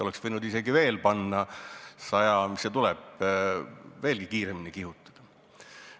Oleks võinud isegi juurde panna – üle 100 kilomeetri tunnis või mis see tuleb –, veelgi kiiremini kihutada.